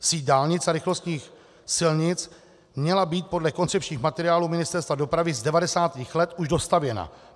Síť dálnic a rychlostních silnic měla být podle koncepčních materiálů Ministerstva dopravy z 90. let už dostavěna.